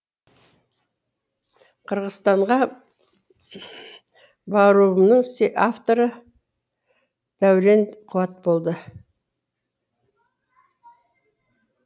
қырғызстанға баруымның авторы даурен қуат болды